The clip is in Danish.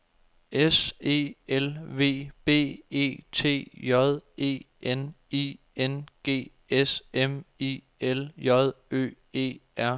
S E L V B E T J E N I N G S M I L J Ø E R